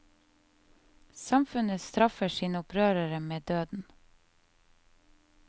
Samfunnet streffer sine opprørere med døden.